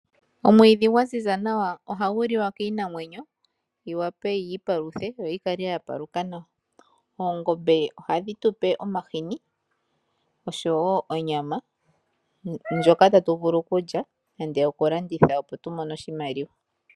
Omwiidhi gwa ziza nawa ohagu liwa kiinamwenyo yi vule yiipaluthe yo yi kale ya paluka nawa. Oongombe ohadhi tupe omahini oshowo onyama ndjoka tatu vulu okulya nenge okulanditha opo tumone oshimaliwa.